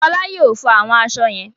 Fọlá yóò fọ àwọn aṣọ yẹn?